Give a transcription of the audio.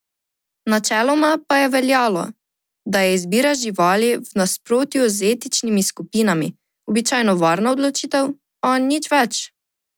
Načeloma pa je veljalo, da je izbira živali, v nasprotju z etničnimi skupinami, običajno varna odločitev, a nič več.